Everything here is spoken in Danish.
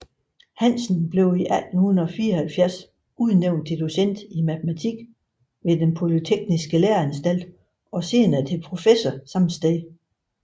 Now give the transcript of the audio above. Hansen blev i 1874 udnævnt til docent i matematik ved Den Polytekniske Læreanstalt og senere til professor samme sted